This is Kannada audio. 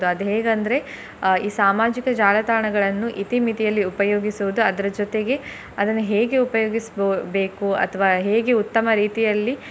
ಅದು ಹೇಗಂದ್ರೆ ಅಹ್ ಈ ಸಾಮಾಜಿಕ ಜಾಲತಾಣಗಳನ್ನು ಇತಿ ಮಿತಿಯಲ್ಲಿ ಉಪಯೋಗಿಸುವುದು ಅದ್ರ ಜೊತೆಗೆ ಅದನ್ನ ಹೇಗೆ ಉಪಯೋಗಿಸಬೊ~ ಬೇಕು ಅಥ್ವ ಹೇಗೆ ಉತ್ತಮ ರೀತಿಯಲ್ಲಿ.